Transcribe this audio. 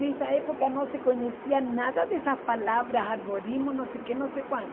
Nessa época não se conhecia nada dessas palavras, arborismo, não sei o quê, não sei quanto.